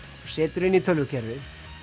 og setur inn í tölvukerfið